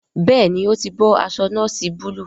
Béèni o tí bó aṣọ noosi Búlúù.